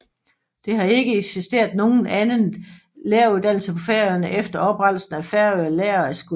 Det har ikke eksisteret nogen annen læreruddannelse på Færøerne efter oprettelsen af Føroya Læraraskúli